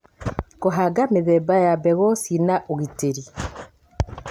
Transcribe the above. kũhanga mĩthemba ya mbegũ cina ũgitĩri